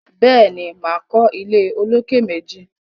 Béèni, máa kọ́ ilé olókè méjì